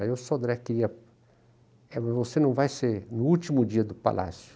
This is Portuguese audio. Aí o Sodré queria, você não vai ser no último dia do Palácio.